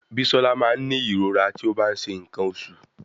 Bisola máa ń ní ìrora tí ó bá ń ṣe nǹkan oṣù.